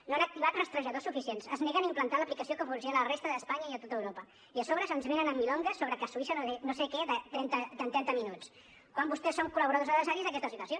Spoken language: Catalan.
no han activat rastrejadors suficients es neguen a implantar l’aplicació que funciona a la resta d’espanya i a tota europa i a sobre ens venen amb milongas sobre que a suïssa no sé què de trenta minuts quan vostès són col·laboradors necessaris d’aquesta situació